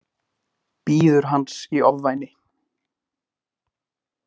Bíður hans í ofvæni.